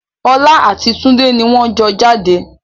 Ọlá àti tunde ni wọn jọ jáde